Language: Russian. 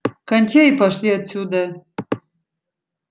кончай и пошли отсюда